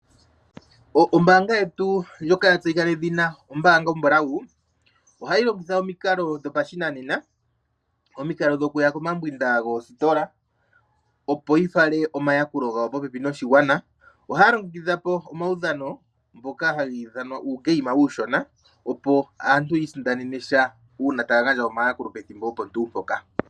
Ombaanga yetu ndyoka ya tseyika nedhina ombaanga yopamuthika , ohayi longitha omikalo dhopashinanena, omikalo dhokuya komambwinda goositola, opo yi fale a omayakulo gawo popepi noshigwana. Ohaya longekidha omaudhano ngoka hagi ithanwa uugame uushona, opo aantu yi isindanene sha, uuna taya gandja omayakulo pethimbo opo tuu mpoka.